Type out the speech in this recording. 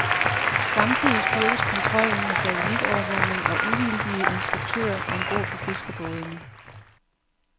Samtidig styrkes kontrollen med satellitovervågning og uvildige inspektører om bord på fiskerbådene.